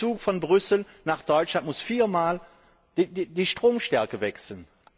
Ein Zug von Brüssel nach Deutschland muss viermal die Stromstärke wechseln.